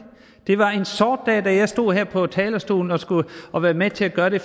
det var en sort dag da jeg stod her på talerstolen og var med med til at gøre det